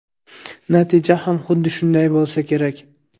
Natija ham xuddi shunday bo‘lsa kerak.